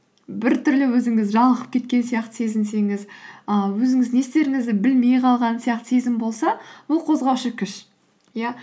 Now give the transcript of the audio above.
біртүрлі өзіңіз жалығып кеткен сияқты сезінсеңіз і өзіңіз не істеріңізді білмей қалған сияқты сезім болса бұл қозғаушы күш иә